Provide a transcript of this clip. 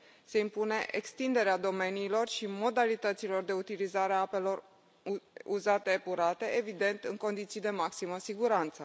Se impune extinderea domeniilor și modalităților de utilizare a apelor uzate epurate, evident, în condiții de maximă siguranță.